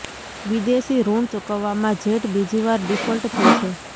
વિદેશી ઋણ ચૂકવવામાં જેટ બીજી વાર ડિફોલ્ટ થઈ છે